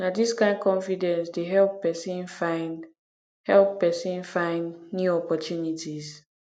na dis kain confidence dey help pesin find help pesin find new opportunities